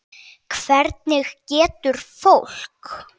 Hvernig getur fólk.